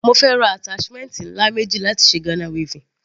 Mo fẹ́ ra attachment ńlá méjì láti ṣe Ghana weaving.